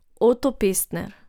Oto Pestner.